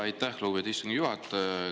Aitäh, lugupeetud istungi juhataja!